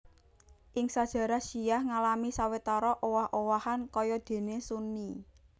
Ing sajarah syiah ngalami sawetara owah owahan kaya déné Sunni